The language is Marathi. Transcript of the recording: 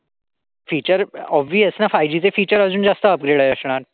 फिचर ऑबीस ना फायुजी चे फिचर अजून जास्त upgraded असणार.